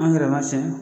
An yɛrɛma cɛ